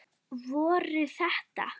Voru þetta.